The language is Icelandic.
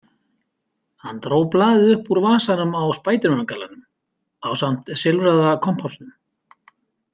Hann dró blaðið upp úr vasanum á spædermangallanum ásamt silfraða kompásnum.